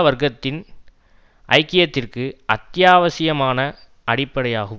வர்க்கத்தின் ஐக்கியத்திற்கு அத்தியாவசியமான அடிப்படையாகும்